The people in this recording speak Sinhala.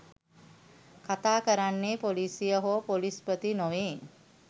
කතා කරන්නේ පොලිසිය හෝ පොලිස්පති නොවේ